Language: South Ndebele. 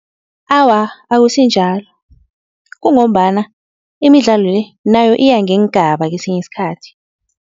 Awa, akusinjalo kungombana imidlalo le nayo iya ngeengaba kwesinye isikhathi.